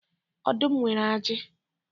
Ọdụm nwere aji.